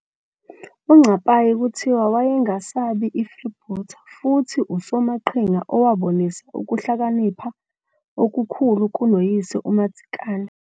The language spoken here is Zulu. UNcapayi kuthiwa wayengesabi i-freebooter, futhi usomaqhinga owabonisa ukuhlakanipha okukhulu kunoyise uMadzikane.